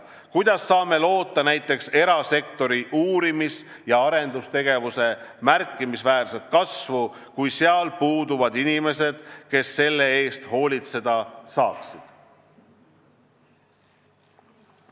Kuidas saame loota näiteks erasektori uurimis- ja arendustegevuse märkimisväärset kasvu, kui seal puuduvad inimesed, kes selle eest hoolitseda saaksid?